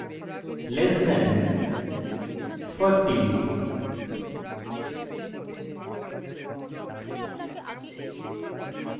and weight less than 40